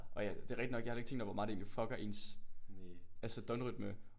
Og jeg det er rigtig nok jeg havde heller ikke tænkt over hvor meget det egentlig fucker ens altså døgnrytme